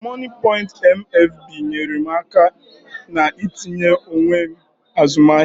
Mọnịpọịnt MFB nyeere m aka n'itinye onwe m azụmahịa